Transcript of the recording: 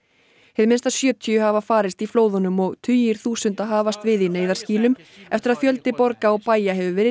hið minnsta sjötíu hafa farist í flóðunum og tugir þúsunda hafast við í neyðarskýlum eftir að fjöldi borga og bæja hefur verið